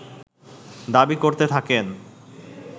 দাবী করতে থাকেন